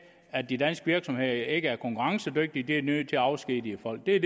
at de danske virksomheder ikke er konkurrencedygtige så de er nødt til at afskedige folk det er